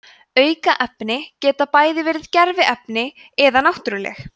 aukefni geta bæði verið gerviefni eða náttúruleg